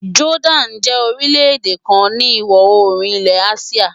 Jordan jẹ́ orílẹ̀ èdè kan ni ìwọ̀ oòrùn ilẹ̀ Asia.